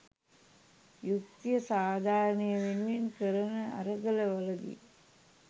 යුක්‌තිය සාධාරණය වෙනුවෙන් කරන අරගල වලදී